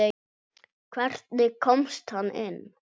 Hvernig komst hann inn?